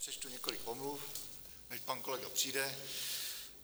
Přečtu několik omluv, než pan kolega přijde.